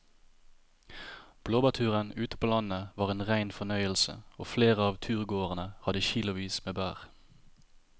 Blåbærturen ute på landet var en rein fornøyelse og flere av turgåerene hadde kilosvis med bær.